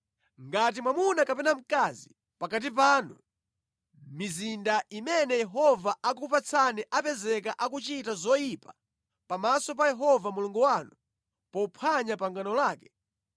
Ngati mwamuna kapena mkazi pakati panu, mʼmizinda imene Yehova akukupatsani apezeka akuchita zoyipa pamaso pa Yehova Mulungu wanu pophwanya pangano lake,